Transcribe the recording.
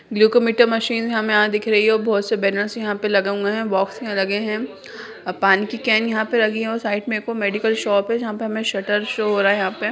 Glucometer machine हमें यहाँ दिख रही है और बहुत से बैनर्स यहाँ पे लगे हुए है बक्स में लगे है आ पानी की कैन यहाँ पे लगी हुई है साइड में एकगो मेडिकल शॉप है जहाँ पे हमें शरट शो हो रहा है।